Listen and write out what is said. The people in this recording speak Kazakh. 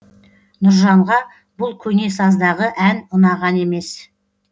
нұржанға бұл көне саздағы ән ұнаған емес